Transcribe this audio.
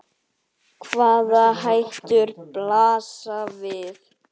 Hvaða hættur blasa við?